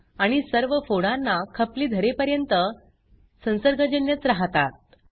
आणि सर्व फोडांना खपली धरेपर्यंत संसर्गजन्यच राहतात